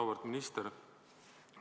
Auväärt minister!